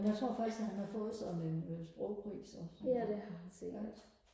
jeg tror faktisk at han har fået sådan en øh sprogpris også ja